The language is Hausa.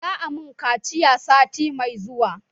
Za a mun kaciya sati mai zuwa